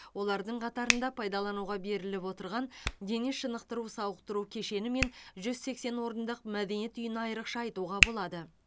олардың қатарында пайдалануға беріліп отырған дене шынықтыру сауықтыру кешені мен жүз сексен орындық мәдениет үйін айрықша айтуға болады